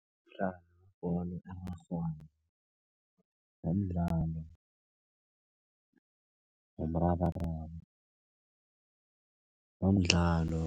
Umdlalo webholo erarhwako, nomdlalo womrabaraba, nomdlalo